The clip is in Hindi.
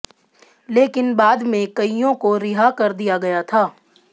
लेकिन बाद में कईयों को रिहा कर दिया गया था